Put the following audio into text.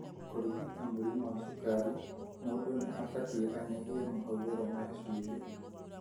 Kũrigita mũrimũ wa cukari mũndu nĩ abatie anyihie mahũthĩri ma cumbi.